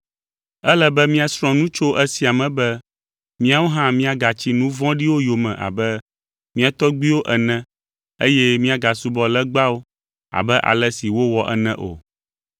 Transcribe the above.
Ele be míasrɔ̃ nu tso esia me be míawo hã míagatsi nu vɔ̃ɖiwo yome abe mía tɔgbuiwo ene eye míagasubɔ legbawo abe ale si wowɔ ene o.